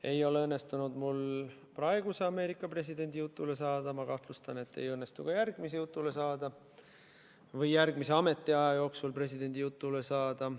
Ei ole mul õnnestunud praeguse Ameerika presidendi jutule saada, ma kahtlustan, et ei õnnestu ka järgmise jutule saada või järgmise ametiaja jooksul presidendi jutule saada.